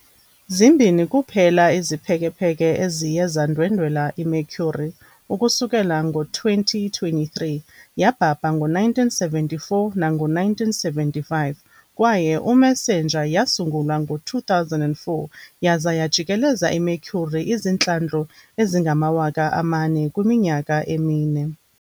Zimbini kuphela iziphekepheke eziye zandwendwela iMercury ukusukela ngo-2023- yabhabha ngo-1974 nango-1975, kwaye "uMESSENGER" yasungulwa ngo-2004 yaza yajikeleza iMercury izihlandlo ezingama-4,000 kwiminyaka emine.